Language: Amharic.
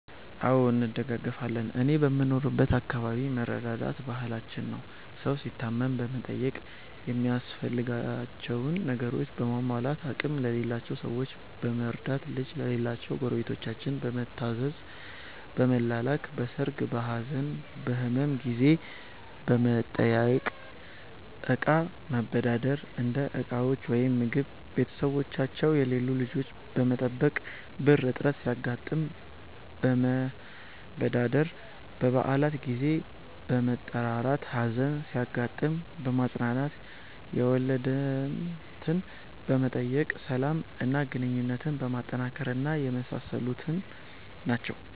አዎ እንደጋገፋለን እኔ በምኖርበት አከባቢ መረዳዳት ባህላችን ነው። ሠው ሲታመም በመጠየቅ ሚያስፈልጋቸውን ነገሮችን በማሟላት፣ አቅም የሌላቸውን ሠዎች በመርዳት፣ ልጅ ለሌላቸው ጎረቤታችን በመታዘዝ፣ በመላላክ፣ በሠርግ፣ በሀዘን፣ በህመም ጊዜ በመጠያየቅ፣ እቃ መበዳደር (እንደ ዕቃዎች ወይም ምግብ)፣ቤተሠቦቻቸው የሌሉ ልጆች በመጠበቅ፣ ብር እጥረት ሲያጋጥም መበዳደር፣ በበአላት ጊዜ በመጠራራት፣ ሀዘን ሲያጋጥም በማፅናናት፣ የወለድትን በመጠየቅ፣ ሠላም እና ግንኙነትን በማጠናከር እና የመሣሠሉት ናቸው።